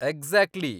Exactly!